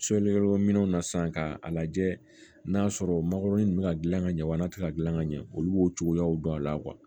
minɛnw na sisan k'a lajɛ n'a y'a sɔrɔ makɔrɔnin bɛ ka gilan ka ɲɛ wa n'a tɛ ka gilan ka ɲɛ olu b'o cogoyaw dɔn a la